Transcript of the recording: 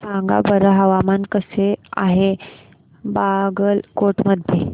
सांगा बरं हवामान कसे आहे बागलकोट मध्ये